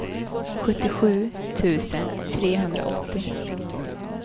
sjuttiosju tusen trehundraåttio